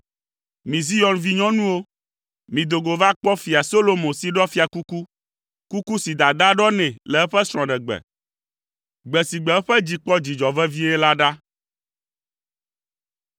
Mi Zion vinyɔnuwo, mido go va kpɔ Fia Solomo si ɖɔ fiakuku, kuku si dadaa ɖɔ nɛ le eƒe srɔ̃ɖegbe, gbe si gbe eƒe dzi kpɔ dzidzɔ vevie la ɖa.